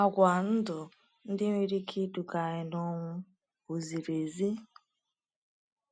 Àgwà ndụ ndị nwere ike iduga anyị n’ọnwụ ọ ziri ezi?